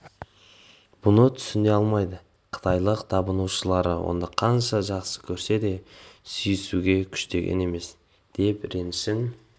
мұны түсіне алмайды қытайлық табынушылары оны қанша жақсы көрсе де сүйісуге күштеген емес деп ренішін